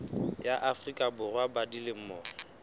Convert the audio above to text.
ya afrika borwa ba dilemo